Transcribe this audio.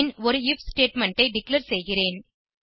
பின் ஒரு IF statement ஐ declare செய்கிறேன்